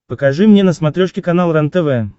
покажи мне на смотрешке канал рентв